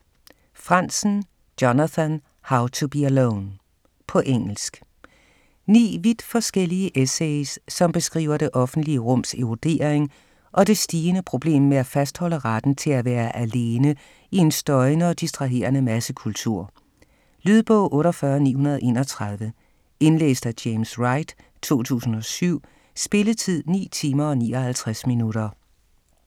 Franzen, Jonathan: How to be alone På engelsk. Ni vidt forskellige essays som beskriver det offentlige rums erodering og det stigende problem med at fastholde retten til at være alene i en støjende og distraherende massekultur. Lydbog 48931 Indlæst af James Wright, 2007. Spilletid: 9 timer, 59 minutter.